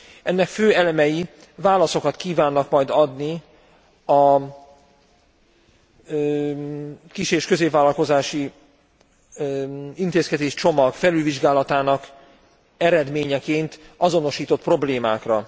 Ennek fő elemei válaszokat kívánnak majd adni a kis és középvállalkozási intézkedéscsomag felülvizsgálatának eredményeként azonosított problémákra.